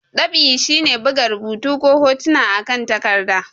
Dab'i shi ne buga rubutu ko hotuna akan takarɗa.